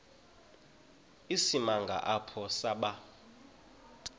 isimanga apho saba